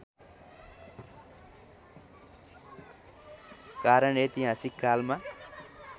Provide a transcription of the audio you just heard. कारण ऐतिहासिक कालमा